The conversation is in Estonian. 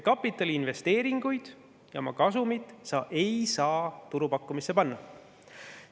Kapitaliinvesteeringuid ja oma kasumit ei saa turupakkumisse panna.